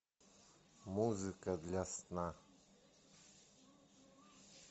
музыка для сна